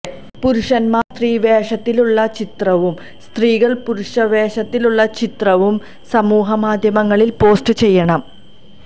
പുരുഷന്മാർ സ്ത്രീ വേഷത്തിലുള്ള ചിത്രവും സ്ത്രീകൾ പുരുഷവേഷത്തിലുള്ള ചിത്രവും സമൂഹമാധ്യമങ്ങളിൽ പോസ്റ്റ് ചെയ്യണം